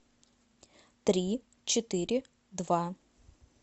три четыре два